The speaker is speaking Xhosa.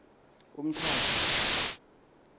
umtata